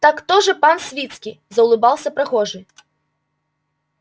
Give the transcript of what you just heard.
так то же пан свицкий заулыбался прохожий